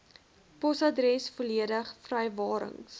posadresse volledige vrywarings